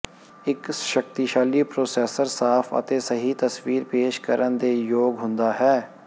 ਇੱਕ ਸ਼ਕਤੀਸ਼ਾਲੀ ਪ੍ਰੋਸੈਸਰ ਸਾਫ ਅਤੇ ਸਹੀ ਤਸਵੀਰ ਪੇਸ਼ ਕਰਨ ਦੇ ਯੋਗ ਹੁੰਦਾ ਹੈ